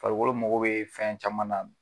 Farikolo mago be fɛn caman na.